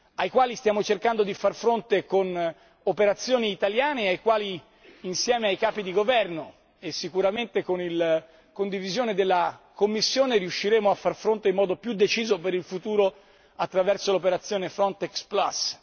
ai quali stiamo cercando di far fronte con operazioni italiane e ai quali, insieme ai capi di governo e sicuramente con la condivisione della Commissione, riusciremo a far fronte in modo più deciso per il futuro attraverso l'operazione Frontex Plus.